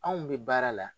Anw bɛ baara la